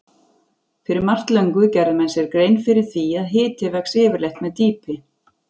Fyrir margt löngu gerðu menn sér grein fyrir því að hiti vex yfirleitt með dýpi.